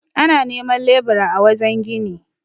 ana neman lebura a wajen gini